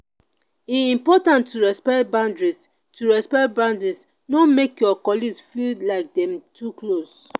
e important to respect boundaries; to respect boundaries; no make your colleagues feel like dem too close.